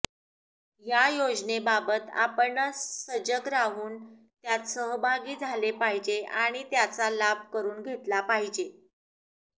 या योजनेबाबत आपणच सजग राहून त्यात सहभागी झाले पाहिजे आणि त्याचा लाभ करून घेतला पाहिजे